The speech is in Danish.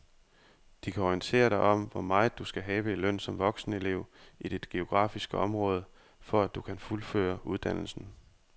De kan orientere dig om hvor meget du skal have i løn som voksenelev i dit geografiske område, for at du kan fuldføre uddannelsen.